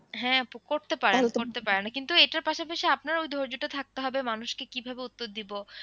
হ্যাঁ আপু করতে পারেন করতে পারেন কিন্তু এটার পাশাপাশি আপনার ওই ধৈর্যটা থাকতে হবে মানুষকে কিভাবে উত্তর দিব।